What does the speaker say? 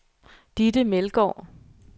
Ditte Meldgaard